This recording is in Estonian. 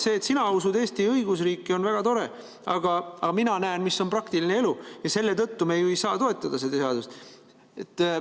See, et sina usud Eesti õigusriiki, on väga tore, aga mina näen, mis on praktiline elu, ja selle tõttu me ei saa toetada seda seadust.